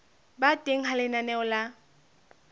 ba teng ha lenaneo la